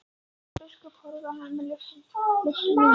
Jón biskup horfði á hann luktum munni.